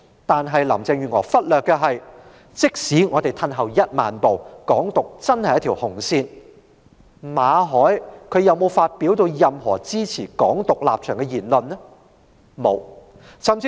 但是，林鄭月娥忽略了的是，即使我們退一萬步，"港獨"真的是一條紅線，馬凱有否發表任何支持"港獨"的言論呢？